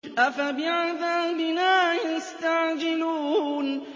أَفَبِعَذَابِنَا يَسْتَعْجِلُونَ